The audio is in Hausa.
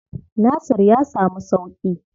Nasir ya samu sauƙi?